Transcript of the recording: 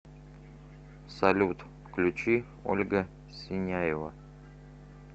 салют включи ольга синяева